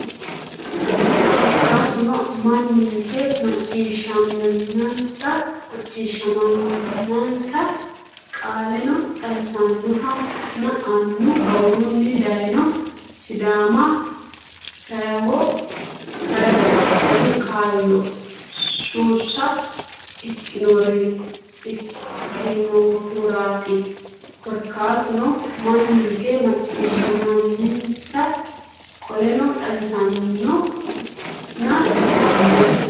Korkaatuno manninke macciishshammensa Qoleno xawisannohonna annu awurunni dayno Sidaama seyohe diru kaayya suusa ikkinohuraati Korkaatuno manninke macciishshammensa Qoleno xawisannohonna annu.